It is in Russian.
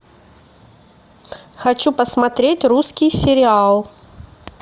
хочу посмотреть русский сериал